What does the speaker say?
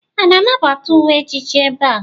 A na-anabata uwe ejiji ebe a?